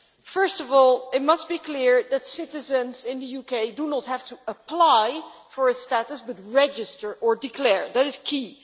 First of all, it must be clear that citizens in the UK do not have to apply for a status but must register or declare, that is key.